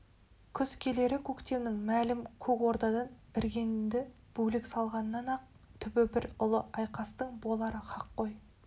күз келері көктемнен мәлім көк ордадан іргеңді бөлек салғаннан-ақ түбі бір ұлы айқастың болары хақ ғой